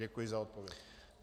Děkuji za odpověď.